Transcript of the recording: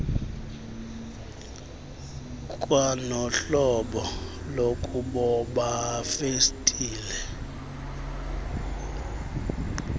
kwanohlobo lokuboba festile